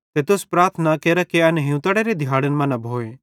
ते तुस प्रार्थना केरा कि एन हियूंतड़ेरे दिहाड़न मां न भोए